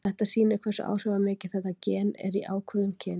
Þetta sýnir hversu áhrifamikið þetta gen er í ákvörðun kyns.